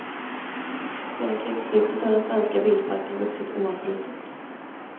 Sedan krigsslutet har den svenska bilparken vuxit oavbrutet.